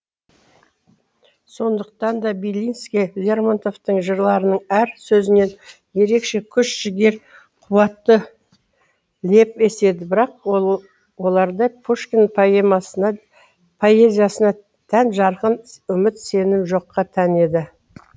сондықтан да белинский лермонтовтың жырларының әр сөзінен ерекше күш жігер қуатты леп еседі бірақ оларда пушкин поэзиясына тән жарқын үміт сенім жоққа тән еді